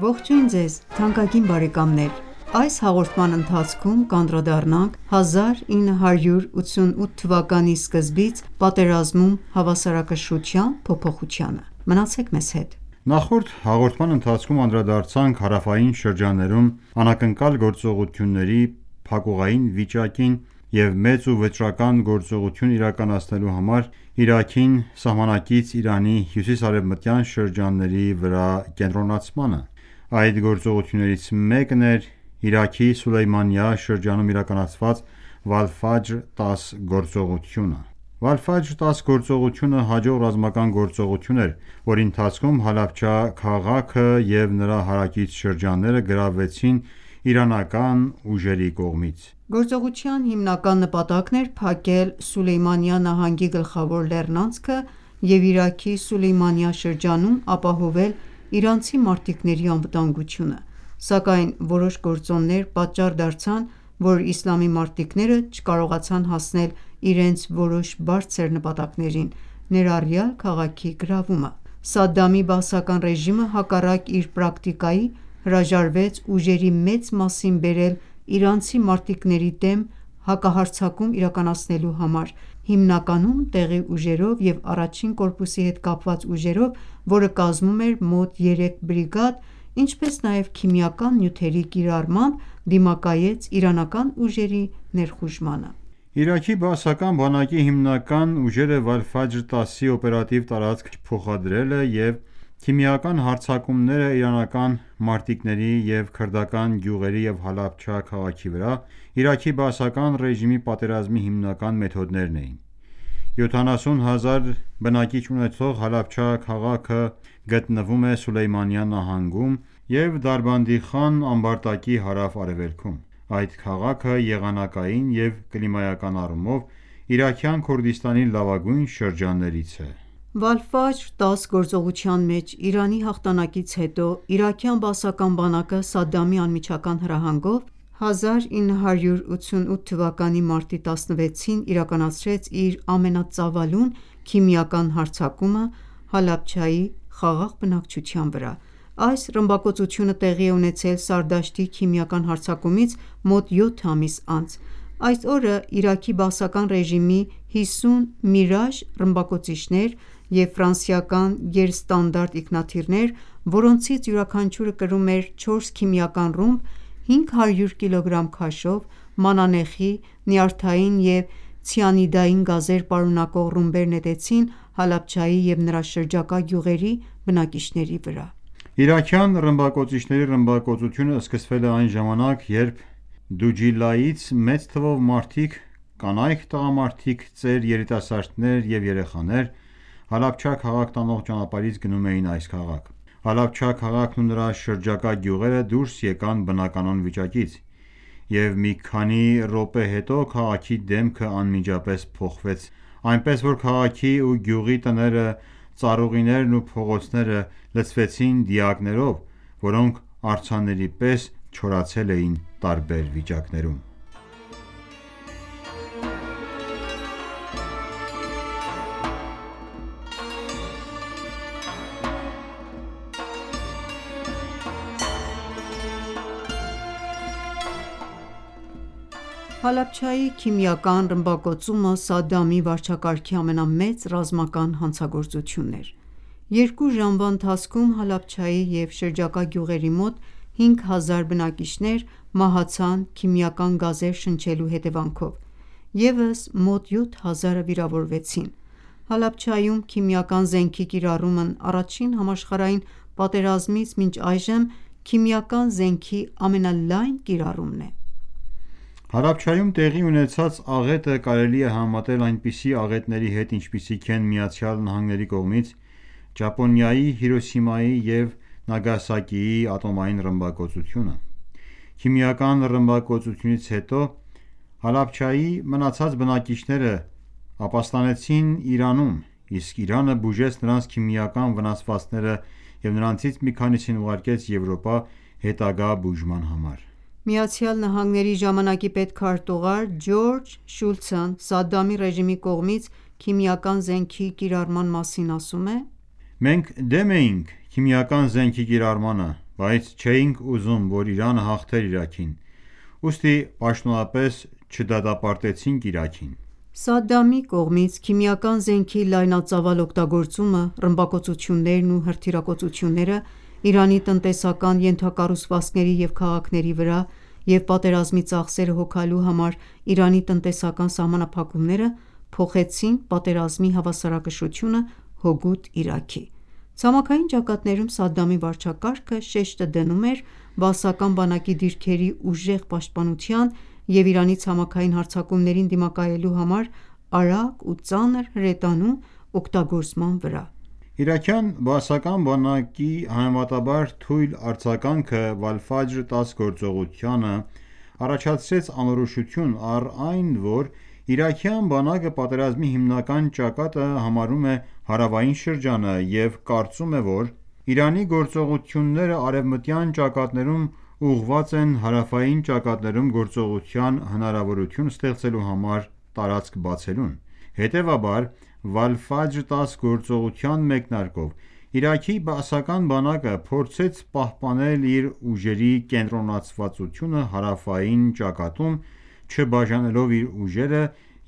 Ողջույն ձեզ թանկագին բարեկամներ: Այս հաղորդման ընթացքում կանդրադառնանք 1988 թվականի սկզբից պատերազմում հավասարակշռության փոփոխությանը: Նախորդ հաղորդման ընթացքում անդրադարձանք հարավային շրջաններում անակնկալ գործողությունների փակուղային վիճակին և մեծ ու վճռական գործողություն իրականացնելու համար Իրաքին սահմանակից Իրանի հյուսիս-արևմտյան շրջանների վրա կենտրոնացմանը։ Այդ գործողություններից մեկն էր Իրաքի Սուլեյմանիա շրջանում իրականացված «Վալֆաջր 10» գործողությունը: «Վալֆաջր 10» գործողությունը հաջող ռազմական գործողություն էր, որի ընթացքում Հալաբջա քաղաքը և նրա հարակից շրջանները գրավվեցին իրանական ուժերի կողմից: Գործողության հիմնական նպատակն էր փակել Սուլեյմանիա նահանգի գլխավոր լեռնանցքը և Իրաքի Սուլեյմանիա շրջանում ապահովել իրանցի մարտիկների անվտանգությունը, սակայն որոշ գործոններ պատճառ դարձան, որ իսլամի մարտիկները չկարողացան հասնել իրենց որոշ բարձր նպատակներին, ներառյալ քաղաքի գրավումը: Սադդամի բաասական ռեժիմը, հակառակ իր պրակտիկայի, հրաժարվեց ուժերի մեծ մասին բերել իրանցի մարտիկների դեմ հակահարձակում իրականացնելու համար, հիմնականում՝ տեղի ուժերով և 1-ին կորպուսի հետ կապված ուժերով, որը կազմում էր մոտ 3 բրիգադ, ինչպես նաև քիմիական նյութերի կիրառմամբ դիմակայեց իրանական ուժերի ներխուժմանը: Իրաքի բաասական բանակի հիմնական ուժերը Վալֆաջր 10-ի օպերատիվ տարածք չփոխադրելը և քիմիական հարձակումները իրանական մարտիկների և քրդական գյուղերի և Հալաբջա քաղաքի վրա Իրաքի բաասական ​​ռեժիմի պատերազմի հիմնական մեթոդներն էին: 70 հազար բնակիչ ունեցող Հալաբջա քաղաքը գտնվում է Սուլեյմանիա նահանգում և Դարբանդիխան ամբարտակի հարավ-արևելքում։ Այս քաղաքը եղանակային և կլիմայական առումով Իրաքյան Քուրդիստանի լավագույն շրջաններից է։ «Վալֆաջր 10» գործողության մեջ Իրանի հաղթանակից հետո իրաքյան բաասական բանակը Սադդամի անմիջական հրահանգով 1988 թվականի մարտի 16-ին իրականացրեց իր ամենածավալուն քիմիական հարձակումը Հալաբջայի խաղաղ բնակչության վրա։ Այս ռմբակոծությունը տեղի է ունեցել Սարդաշտի քիմիական հարձակումից մոտ 7 ամիս անց։ Այս օրը Իրաքի բաասական ռեժիմի 50 Միրաժ ռմբակոծիչներ և ֆրանսիական գերստանդարտ ինքնաթիռներ, որոնցից յուրաքանչյուրը կրում էր 4 քիմիական ռումբ՝ 500 կգ քաշով՝ մանանեխի, նյարդային և ցիանիդային գազեր պարունակող ռումբեր նետեցին Հալաբջայի և նրա շրջակա գյուղերի բնակիչների վրա։ Իրաքյան ռմբակոծիչների ռմբակոծությունը սկսվել է այն ժամանակ, երբ Դուջիլայից մեծ թվով մարդիկ՝ կանայք, տղամարդիկ, ծեր, երիտասարդներ և երեխաներ, Հալաբջա քաղաք տանող ճանապարհից գնում էին այս քաղաք։ Հալաբջա քաղաքն ու նրա շրջակա գյուղերը դուրս եկան բնականոն վիճակից, և մի քանի րոպե հետո քաղաքի դեմքը անմիջապես փոխվեց այնպես, որ քաղաքի ու գյուղի տները, ծառուղիներն ու փողոցները լցվեցին դիակներով, որոնք արձանների պես չորացել էին տարբեր վիճակներում: Հալաբջայի ողբերգությունը Հալաբջայի քիմիական ռմբակոծումը Սադդամի վարչակարգի ամենամեծ ռազմական հանցագործությունն էր։ 2 ժամվա ընթացքում Հալաբջայի և շրջակա գյուղերի մոտ 5000 բնակիչներ մահացան քիմիական գազեր շնչելու հետևանքով, ևս մոտ 7000-ը վիրավորվեցին։ Հալաբջայում քիմիական զենքի կիրառումն առաջին համաշխարհային պատերազմից մինչ այժմ քիմիական զենքի ամենալայն կիրառումն է։ Հալաբջայում տեղի ունեցած աղետը կարելի է համեմատել այնպիսի աղետների հետ, ինչպիսիք են ԱՄՆ-ի կողմից Ճապոնիայի Հիրոսիմայի և Նագասակիի ատոմային ռմբակոծությունը: Քիմիական ռմբակոծությունից հետո Հալաբջայի մնացած բնակիչները ապաստանեցին Իրանում, իսկ Իրանը բուժեց նրանց քիմիական վնասվածքները և նրանցից մի քանիսին ուղարկեց Եվրոպա՝ հետագա բուժման համար։ ԱՄՆ-ի ժամանակի պետքարտուղար Ջորջ Շուլցն Սադդամի ռեժիմի կողմից քիմիական զենքի կիրառման մասին ասում է.«Մենք դեմ էինք քիմիական զենքի կիրառմանը, բայց չէինք ուզում, որ Իրանը հաղթեր Իրաքին, ուստի պաշտոնապես չդատապարտեցինք Իրաքին»։ Սադդամի կողմից քիմիական զենքի լայնածավալ օգտագործումը, ռմբակոծություններն ու հրթիռակոծությունները՝ Իրանի տնտեսական ենթակառուցվածքների և քաղաքների վրա, և պատերազմի ծախսերը հոգալու համար Իրանի տնտեսական սահմանափակումները փոխեցին պատերազմի հավասարակշռությունը՝ հօգուտ Իրաքի: Ցամաքային ճակատներում Սադդամի վարչակարգը շեշտը դնում էր բաասական բանակի դիրքերի ուժեղ պաշտպանության և Իրանի ցամաքային հարձակումներին դիմակայելու համար արագ ու ծանր հրետանու օգտագործման վրա: Իրաքյան բաասական բանակի համեմատաբար թույլ արձագանքը Վալֆաջր 10 գործողությանը առաջացրեց անորոշություն, առ այն, որ իրաքյան բանակը պատերազմի հիմնական ճակատը համարում է հարավային շրջանը և կարծում է, որ Իրանի գործողությունները արևմտյան ճակատներում ուղղված են հարավային ճակատներում գործողության հնարավորություն ստեղծելու համար տարածք բացելուն: Հետևաբար Վալֆաջր 10 գործողության մեկնարկով, Իրաքի բաասական բանակը փորձեց պահպանել իր ուժերի կենտրոնացվածությունը հարավային ճակատում՝ չբաժանելով իր ուժերը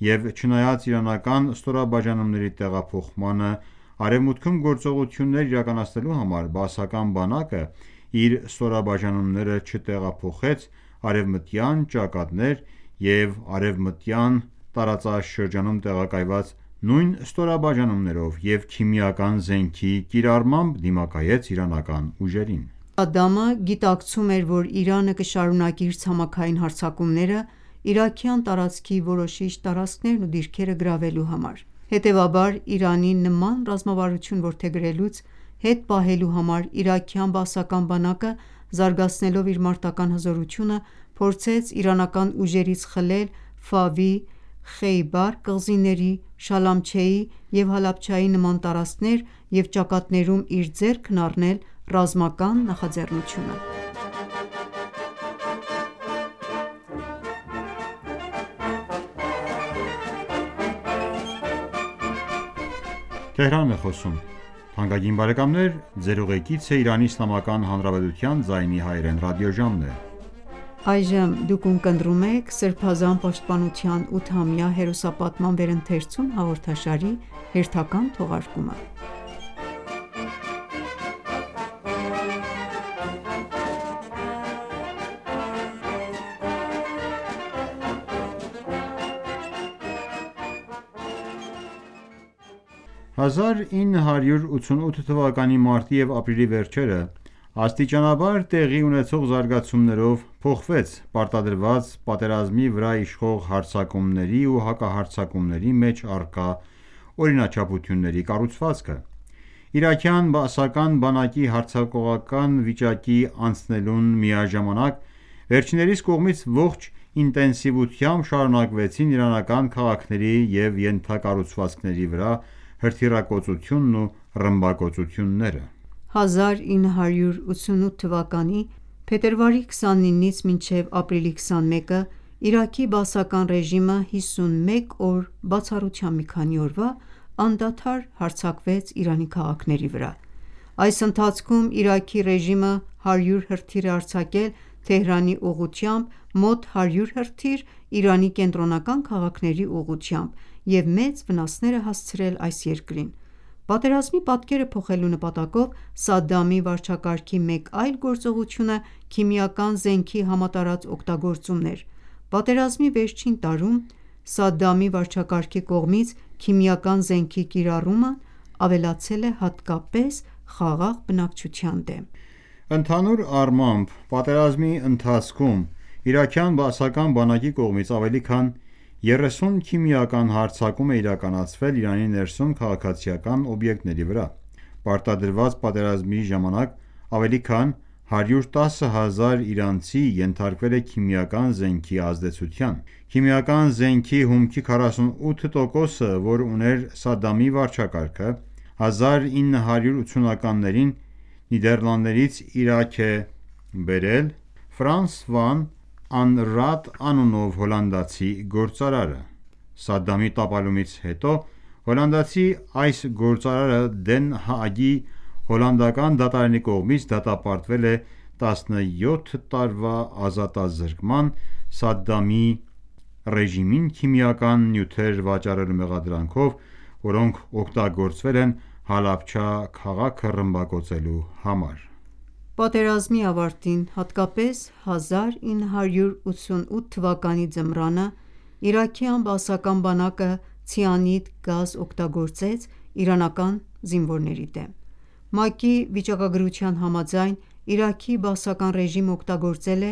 և չնայած իրանական ստորաբաժանումների տեղափոխմանը արևմուտքում գործողություններ իրականացնելու համար, բաասական բանակն իր ստորաբաժանումները չտեղափոխեց արևմտյան ճակատներ և արևմտյան տարածաշրջանում տեղակայված նույն ստորաբաժանումներով և քիմիական զենքի կիրառմամբ դիմակայեց իրանական ուժերին։ Սադդամը գիտակցում էր, որ Իրանը կշարունակի իր ցամաքային հարձակումները՝ իրաքյան տարածքի որոշիչ տարածքներն ու դիրքերը գրավելու համար։ Հետևաբար, Իրանին նման ռազմավարություն որդեգրելուց հետ պահելու համար իրաքյան բաասական բանակը զարգացնելով իր մարտական ​​հզորությունը փորձեց իրանական ուժերից խլել Ֆավի, Խեյբար կղզիների, Շալամչեի և Հալաբջայի նման տարածքներ և ճակատներում իր ձեռքն առնել ռազմական նախաձառնությունը: 1988 թ․-ի մարտի և ապրիլի վերջերը, աստիճանաբար տեղի ունեցող զարգացումներով, փոխվեց պարտադրված պատերազմի վրա իշխող հարձակումների ու հակահարձակումների մեջ առկա օրինաչափությունների կառուցվածքը։ Իրաքյան բաասական բանակի հարձակողական վիճակի անցնելուն միաժամանակ, վերջիններիս կողմից ողջ ինտենսիվությամբ շարունակվեցին իրանական քաղաքների և ենթակառուցվածքների հրթիռակոծությունն ու ռմբակոծությունները։ 1988 թվականի փետրվարի 29-ից մինչև ապրիլի 21-ը Իրաքի բաասական ռեժիմը 51 օր, բացառությամբ մի քանի օրվա, անդադար հարձակվեց Իրանի քաղաքների վրա։ Այս ընթացքում Իրաքի ռեժիմը 100 հրթիռ է արձակել Թեհրանի ուղղությամբ, մոտ 100 հրթիռ՝ Իրանի կենտրոնական քաղաքների ուղղությամբ և մեծ վնասներ է հասցրել։ Պատերազմի պատկերը փոխելու նպատակով Սադդամի վարչակարգի մեկ այլ գործողությունը քիմիական զենքի համատարած օգտագործումն էր։ Պատերազմի վերջին տարում Սադդամի վարչակարգի կողմից քիմիական զենքի կիրառումն ավելացել է հատկապես խաղաղ բնակչության դեմ։ Ընդհանուր առմամբ, պատերազմի ընթացքում իրաքյան բաասական բանակի կողմից ավելի քան 30 քիմիական հարձակում է իրականացվել Իրանի ներսում քաղաքացիական օբյեկտների վրա։ Պարտադրված պատերազմի ժամանակ ավելի քան 110 հազար իրանցի ենթարկվել է քիմիական զենքի ազդեցության։ Քիմիական զենքի հումքի 48%-ը, որ ուներ Սադդամի վարչակարգը 1980-ականներին, Նիդեռլանդներից Իրաք է բերել վան Անրաատ անունով հոլանդացի գործարարը։ Սադդամի տապալումից հետո հոլանդացի այս գործարարը Դեն Հաագի հոլանդական դատարանի կողմից դատապարտվել է 17 տարվա ազատազրկման՝ Սադդամի ռեժիմին քիմիական նյութեր վաճառելու մեղադրանքով, որոնք օգտագործվել են Հալաբջա քաղաքն ռմբակոծելու համար: Պատերազմի ավարտին, հատկապես 1988 թվականի ձմռանը, իրաքյան բաասական բանակը ցիանիդ գազ օգտագործեց իրանական զինվորների դեմ։ ՄԱԿ-ի վիճակագրության համաձայն՝ Իրաքի բաասական ռեժիմը օգտագործել է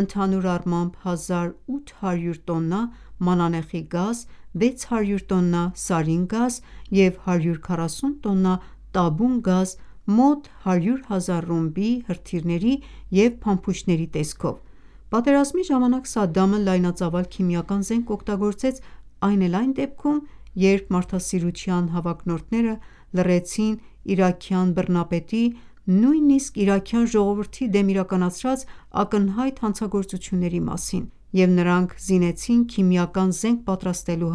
ընդհանուր առմամբ 1800 տոննա մանանեխի գազ, 600 տոննա Սարին գազ և 140 տոննա տաբուն գազ՝ մոտ 100 հազար ռումբի, հրթիռների և փամփուշտների տեսքով։ Պատերազմի ժամանակ Սադդամը լայնածավալ քիմիական զենք օգտագործեց այն էլ այն դեպքում, երբ մարդասիրության հավակնորդները լռեցին իրաքյան բռնապետի, նույնիսկ իրաքյան ժողովրդի դեմ իրականացրած ակնհայտ հանցագործությունների մասին և նրան զինեցին քիմիական զենք պատրաստելու